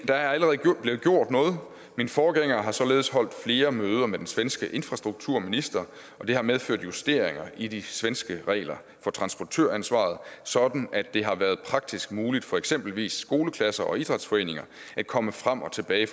er allerede blevet gjort noget min forgænger har således holdt flere møder med den svenske infrastrukturminister og det har medført justeringer i de svenske regler for transportøransvaret sådan at det har været praktisk muligt for eksempelvis skoleklasser og idrætsforeninger at komme frem og tilbage